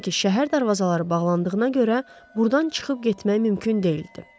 Çünki şəhər darvazaları bağlandığına görə burdan çıxıb getmək mümkün deyildi.